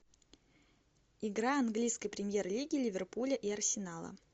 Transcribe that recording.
игра английской премьер лиги ливерпуля и арсенала